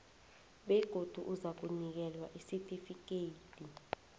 begodu uzakunikelwa isitifikhethi